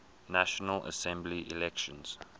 national assembly elections